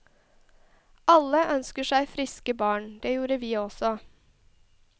Alle ønsker seg friske barn, det gjorde vi også.